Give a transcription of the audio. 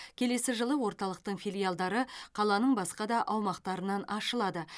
келесі жылы орталықтың филиалдары қаланың басқада аумақтарынан ашылады